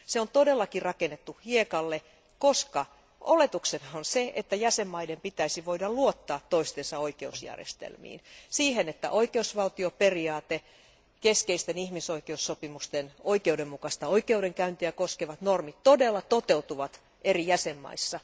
Se on todellakin rakennettu hiekalle, koska oletuksena on se, että jäsenvaltioiden pitäisi voida luottaa toistensa oikeusjärjestelmiin, siihen, että oikeusvaltioperiaate, keskeisten ihmisoikeussopimusten oikeudenmukaista oikeudenkäyntiä koskevat normit, todella toteutuvat eri jäsenvaltioissa.